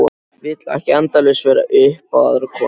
Vil ekki endalaust vera upp á aðra kominn.